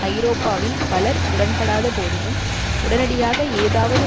ஐரோப்பாவில் பலர் உடன்படாத போதினும் உடனடியாக ஏதாவது